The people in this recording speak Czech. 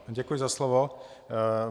Děkuji za slovo.